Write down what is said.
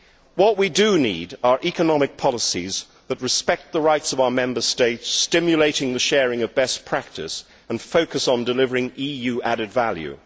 What we do need are economic policies that respect the rights of our Member States, stimulate the sharing of best practice and focus on delivering EU added value